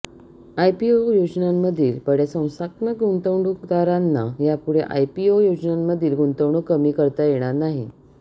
IPO योजनांमधील बड्या संस्थात्मक गुंतवणूकदारांना यापुढे आयपीओ योजनांमधील गुंतवणूक कमी करता येणार नाही